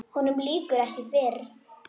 Honum lýkur ekki fyrr.